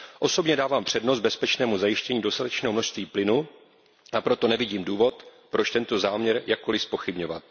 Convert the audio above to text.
Osobně dávám přednost bezpečnému zajištění dostatečného množství plynu, a proto nevidím důvod, proč tento záměr jakkoli zpochybňovat.